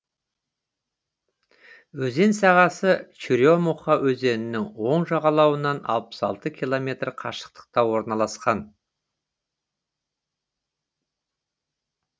өзен сағасы черемуха өзенінің оң жағалауынан алпыс алты километр қашықтықта орналасқан